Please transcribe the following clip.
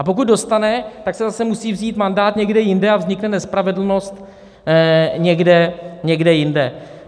A pokud dostane, tak se zase musí vzít mandát někde jinde a vznikne nespravedlnost někde jinde.